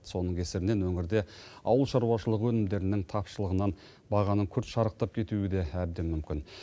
соның кесірінен өңірде ауыл шаруашылығы өнімдерінің тапшылығынан бағаның күрт шарықтап кетуі де әбден мүмкін